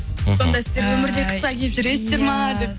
мхм сонда сіздер өмірде қысқа киіп жүресіздер ма деп